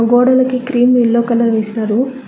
గోడలికి cream yellow colour వేసినారు.